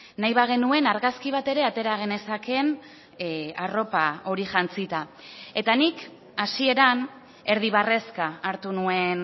nahi bagenuen argazki bat ere atera genezakeen arropa hori jantzita eta nik hasieran erdi barrezka hartu nuen